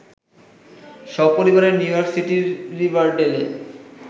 সপরিবারে নিউইয়র্ক সিটির রিভারডেলে